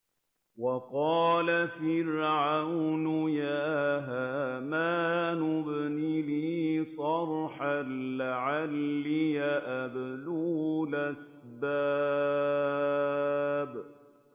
وَقَالَ فِرْعَوْنُ يَا هَامَانُ ابْنِ لِي صَرْحًا لَّعَلِّي أَبْلُغُ الْأَسْبَابَ